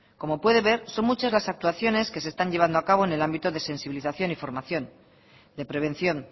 como puede ver son muchas las actuaciones que se están llevando a cabo en el ámbito de sensibilización y formación de prevención